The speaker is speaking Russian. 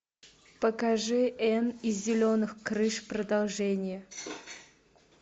покажи энн из зеленых крыш продолжение